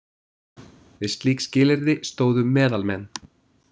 Við slík skilyrði stóðu „meðalmenn“.